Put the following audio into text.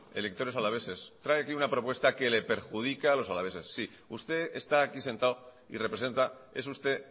electores alaveses trae aquí una propuesta que le perjudica a los alaveses sí usted está aquí sentado y representa es usted